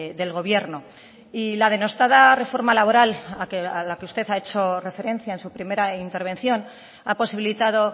del gobierno y la denostada reforma laboral a la que usted ha hecho referencia en su primera intervención ha posibilitado